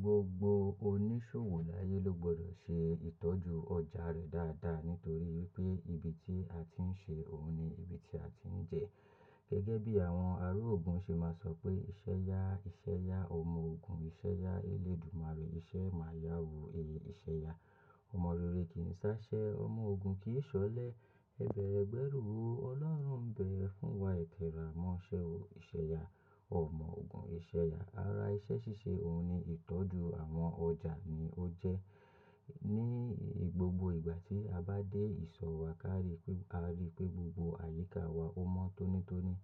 Gbogbo oníṣòwò láyé ló gbọ́dọ̀ ṣe ìtọ́jú ọjà rẹ dáadáa nítorí pé ibi tí a ti ń ṣe òun ni ibi tí a ti ń jẹ. Gẹ́gẹ́ bí àwọn ègùn ṣe máa sọ pé "ìṣe ya, ìṣe ya, ọmọ ogun ìṣe ya, eléèdúmáre rí iṣẹ́ máa yá wu, èé ìṣe ya, ọmọ rere kì í sá ṣẹ́, ọmọ ogun kì í ṣọlẹ, ẹ bẹ̀rẹ̀ ẹ gbẹ́rù o, Ọlọ́run ń bẹ̀ ẹ́ fún wa. Ẹ̀tẹ̀ ràá mọ́ṣẹ́ o, ìṣe ya, ọmọ ogun ìṣe ya". Ara iṣẹ́ ṣíṣe òun ni ìtọ́jú àwọn ọjà ni ó jẹ́. Ni gbogbo ìgbà tí a bá dé ìsọ̀ wa ká rí pé, a rí pé gbogbo àyíká wa ó mọ́ tónítóní.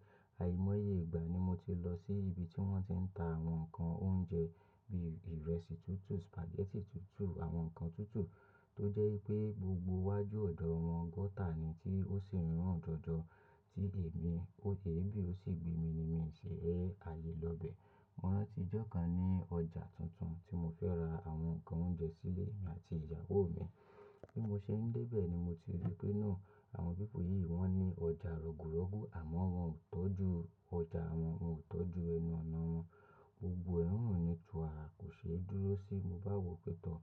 Àìmọ́ye ìgbà ni mo ti lọ sí ibi tí wọ́n ti ń ta àwọn ǹkan oúnjẹ bí ìrẹsì tútù, spaghetti tútù, àwọn ǹkan tútù tó jẹ́ pé gbogbo iwájú ọ̀dọ̀ wọn gọ́tà ni tí ó ṣi run jọjọ, tí èmi ó yè bí ó sì gbé mi ni mí ṣe ẹ́ alé lọ bẹ̀. Mo rántí ọjọ́ kan ní ọjà tuntun tí mo fẹ́ ra àwọn ǹkan oúnjẹ sílé emi àti ìyàwó mi, bí mo ṣe ń dé bẹ̀ ni mo ti rí pé náà àwọn pipu yìí wọ́n ní ọjà rọ̀gùrọ̀gú àmọ́ wọ́n ò tọ́jú ọjà wọn, wọ́n ò tọ́jú ẹnu ọ̀nà wọn. Ogún ẹ̀rùn ni ju àárọ̀ kò ṣe é dúró sí i. Mo bá wò pé tọ́,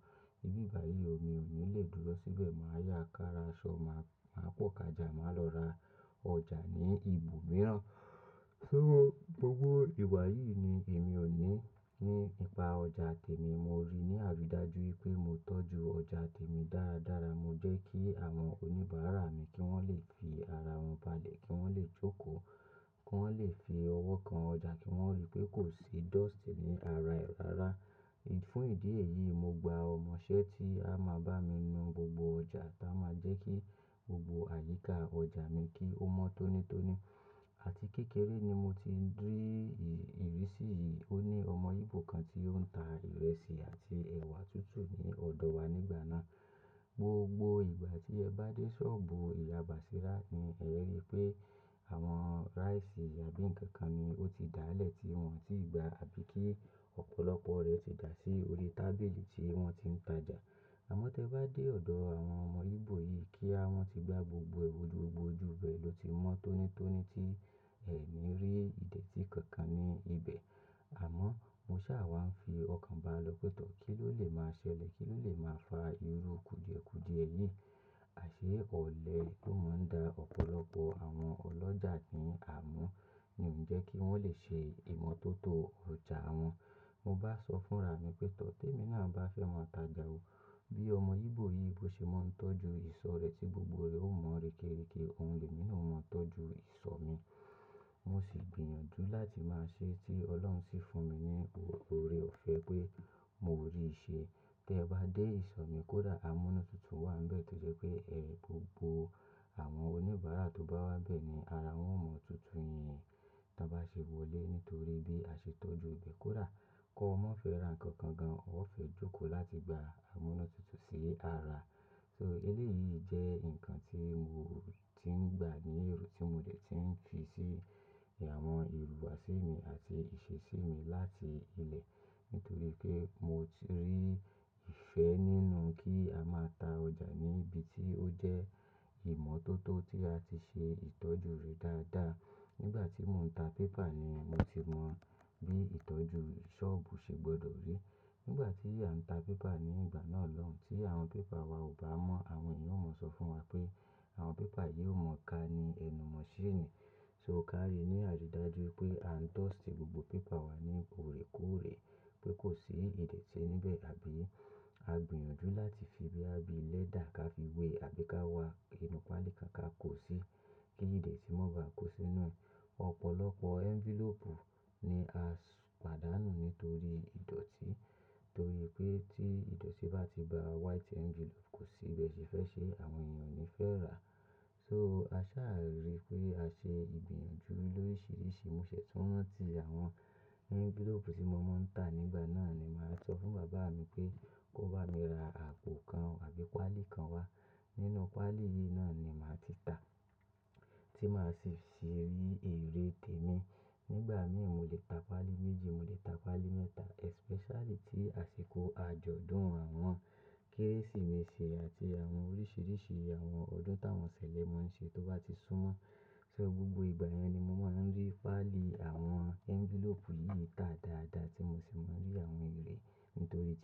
ibi báyìí mi ò ní lè dúró síbẹ̀, màá yá kára aṣọ, màá, màá pọ́kàjà, màá lọ ra ọjà ní ibòmíràn. So gbogbo ìwà yìí ni èmi ò ní nípa ọjà tèmi. Mo rí ní àrídájú pé mo tọ́jú ọjà tèmi dáradára. Mo jẹ́ kí àwọn oníbàárà mi kí wọ́n lè fi ara wọn balẹ̀, kí wọ́n lè jókòó, kí wọ́n lè fi ọwọ́ kan ọjà kí wọ́n rí pé kò sí dust ní ara e rara. Fún ìdí èyí mo gba ọmọṣẹ́ tí a máa bá mi nu gbogbo ọjà táa máa jẹ́ kí gbogbo àyíká ọjà mi kí ó mọ́ tónítóní. Àti kékeré ni mo ti ń rí ìrísí yìí. Ó ní ọmọ íbò kan tí ó ń ta ìrẹsì àti ẹ̀wà tútù ní ọ̀dọ̀ wa nígbà náà. Gbogbo ìgbà tí ẹ bá dé sọ́ọ̀bù ìyá Bàṣírá ni ẹ̀ rí pé àwọn rice àbí ǹkan kan ni ó ti dá lẹ̀ tí wọ́n ò tí gba àbí kí ọ̀pọ̀lọpọ̀ rẹ̀ ti dà sí orí tábìlì tí wọ́n ti ń tajà. Àmọ́ tí ẹ bá dé ọ̀dọ̀ àwọn ọmọ íbò yìí kíá, wọ́n ti gbá gbogbo ewu, gbogbo oju ibe ló ti mọ́ tónítóní tí ẹ ní rí ìdẹ̀tí kankan ní ibẹ̀. Àmọ́ mo sá à wá ń fi ọkàn ba lọ pé tọ́, kí ló lè máa ṣẹlẹ̀? Kí ló lè máa fa irú kùdìẹ̀kùdìẹ yìí? Àṣé ọ̀lẹ tó máa ń da ọ̀pọ̀lọpọ̀ àwọn ọlọ́jà ní àmúù ni ó ń jẹ́ kí wọ́n lè ṣe ìmọ́tótó ọjà wọn. Mo bá sọ fún ra mi pé, tọ́ tèmi náà bá fẹ́ máa tajà o. Bí ọmọ íbò yìí bó ṣe máa ń tọ́jú ìsọ̀ rẹ̀ tí gbogbo rẹ̀ ó mọ́ rekereke, òun lè mi náà mọ́ tọ́jú ìsọ̀ mi. Mo sì gbìyànjú láti máa ṣe é tí Ọlọ́run sì fún mi ní oore ò fẹ́ pé mo rí i ṣe. Tí ẹ bá dé ìsọ̀ mi kó dà amúnútutù wà níbẹ̀ tó jẹ́ pé ẹ gbogbo àwọn oníbàárà tó bá wá bẹ̀ ni ara wọn ó mọ́ tútù yẹn tí wọ́n bá ṣe wọlé nítorí bí a ṣe tọ́jú ibẹ̀ kó da. Kọ́'maa fẹ́ ra ǹkan kan gan, ó fẹ́ jókòó láti gba amúnútutù sí ara. So eléyìí jẹ́ ǹkan tí mo ti ń gba ní èrò tí mo dẹ̀ ti ń fi sí àwọn ìlú àsè mi àti ìṣesí mi láti ilẹ̀ nítorí pé mo ti rí ìfẹ́ nínú kí a máa ta ọjà ní ibi tí ó jẹ́ ìmọ́tótó tí a ti ṣe ìtọ́jú rẹ̀ dáadáa. Nígbà tí mò ń ta pépà ni mo ti mọ bí ìtọ́jú sọ́ọ̀bù ṣe gbọdọ̀ rí. Nígbà tí à ń ta pépà ní ìgbà náà lọ́hùn-ún tí àwọn pépà wa ò bá mọ́, àwọn ènìyàn ó máa sọ fún wa pé àwọn pépà yìí ò mọ ká ni ẹnu mọ́ ṣéènì. So ká rí ní àrídájú pé à ń dust gbogbo pépà wa ní òre kóòrè pé kò sí ìdẹ̀tí níbẹ̀ àbí a gbìyànjú láti fi bí á bí lẹ́dà ká fi wé àbí ká wa inú páálí kan ká kó sí í kí ìdẹ̀tí mọ́ bá kó sínú rẹ̀. Ọ̀pọ̀lọpọ̀ envelope ni a pàdánù nítorí ìdọ̀tí, torí pé tí ìdọ̀tí bá ti ba white envelope kò sí ibi ẹṣẹ fẹ́ ṣe, àwọn ènìyàn ni fẹ́ rà á. So a sáà rí pé a ṣe ìgbìyànjú lórísìíríṣìí. Mo ṣẹ̀ tún rántí àwọn envelope tí mo máa ń ta nígbà náà ni màá sọ fún bàbá mi pé kó bá mi ra àpò kan àbí páálí kan wá. Nínú páálí yìí náà ni màá ti ta, tí màá sì fi rí èrè tèmi. Nígbà mìíràn mo lè ta páálí méjì, mo lè ta páálí mẹ́ta especially tí àsìkò àjọ̀dún àwọn Kérésìmesì àti àwọn oríṣìíríṣìí àwọn ọdún tí àwọn ṣẹ̀lẹ̀ maa ń ṣe tó bá ti súnmọ́. So gbogbo ìgbà yẹn ni mo máa ń rí páálì àwọn envelope yìí tà dáadáa tí mo sì máa ń rí àwọn èrè nítorí tí.